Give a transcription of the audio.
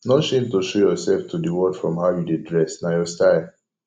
no shame to show yourself to de world from how you dey dress na your style